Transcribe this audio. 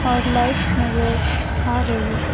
और लाइट्स नजर आ रही--